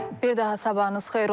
Bir daha sabahınız xeyir olsun.